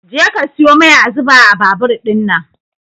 Je ka siyo mai a zuba a babur ɗinnan